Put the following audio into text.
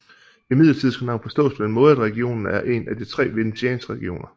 Imidlertid skal navnet forstås på den måde at regionen er en af de tre venetianske regioner